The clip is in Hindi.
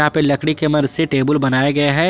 लकड़ी के मदद से टेबल बनाया गया है।